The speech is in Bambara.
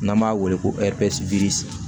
N'an b'a wele ko